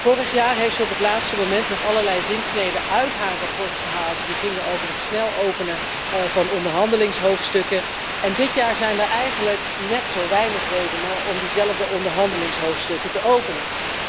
Vorig jaar heeft zij op het laatste moment nog allerlei zinsneden uit haar verslag gehaald die gingen over het snel openen van onderhandelingshoofdstukken. En dit jaar zijn er eigenlijk net zo weinig redenen om diezelfde onderhandelingshoofdstukken te openen.